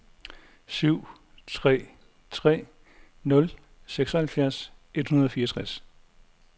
syv tre tre nul seksoghalvfjerds et hundrede og fireogtres